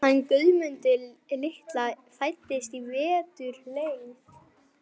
hann Guðmund litla sem fæddist í vetur leið.